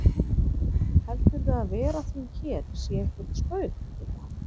Heldurðu að vera þín hér sé eitthvert spaug spurði hann.